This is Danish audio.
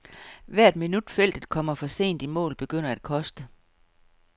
Hvert minut feltet kommer for sent i mål begynder at koste.